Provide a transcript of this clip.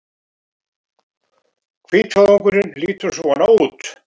Hvítvoðungurinn lítur svona út